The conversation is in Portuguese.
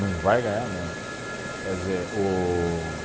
Não vai ganhar mesmo, quer dizer, o